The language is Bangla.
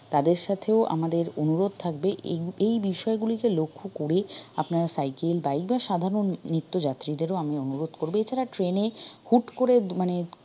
তাদের সাথেও আমাদের অনুরোধ থাকবে এই এই বিষয়গুলিকে লক্ষ্য করেই আপনারা cycle bike বা সাধারন নিত্য যাত্রীদেরও আমি অনুরোধ করব এছাড়া train এ হুট করে মানে